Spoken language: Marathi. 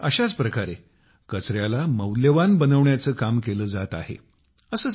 काहीसे अशाच प्रकारे कचऱ्याला मौल्यवान बनवण्याचे काम केले जात आहे